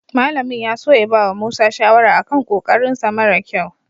Malamin ya so ya bawa Musa shawara a kan ƙoƙarinsa mara ƙyau.